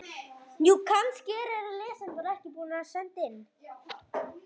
Allir í salnum lyftu kakóbollunum og svo skáluðu þeir fyrir gæfuríkum ferðum um jörðina.